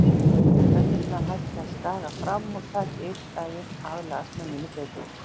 Tennurnar hætti að skaga fram og taki einn daginn að aðlagast munninum betur.